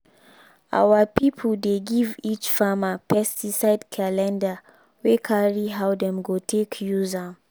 our people dey give each farmer pesticide calendar wey carry how dem go take use am